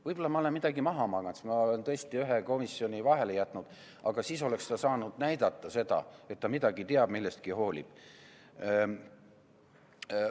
Võib-olla ma olen midagi maha maganud, sest ma olen tõesti ühe komisjoni istungi vahele jätnud, aga siis oleks ta saanud näidata seda, et ta midagi teab, millestki hoolib.